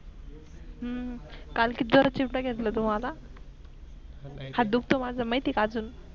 हम्म काल किती जोरात चिमटा घेतला तू मला? हात दुखतो माझ माहित आहे का आजून.